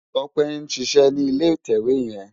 Tope n ṣiṣè ni ilé itèwé yèn